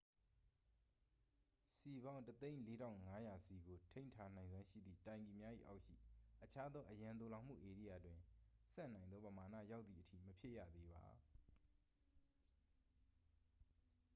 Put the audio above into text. စည်ပေါင်း 104,500 စည်ကို ထိန်းထားနိုင်စွမ်းရှိသည့်တိုင်ကီများ၏အောက်ရှိ အခြားသော အရန်သိုလှောင်မှုဧရိယာတွင် ဆံ့နိုင်သောပမာဏရောက်သည်အထိ မဖြည့်ရသေးပါ